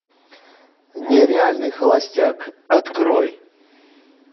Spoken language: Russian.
нереальный холостяк открой